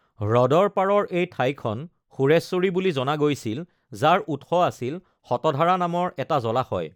হ্ৰদৰ পাৰৰ এই ঠাইখন সুৰেশ্বৰী বুলি জনা গৈছিল, যাৰ উৎস আছিল শতধাৰা নামৰ এটা জলাশয়।